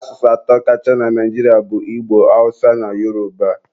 Asụsụ atọ kacha na Naijiria bụ Igbo, Awụsa na Yoroba.